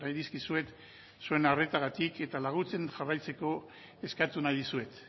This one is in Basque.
dizkizuet zuen arretagatik eta laguntzen jarraitzeko eskatu nahi dizuet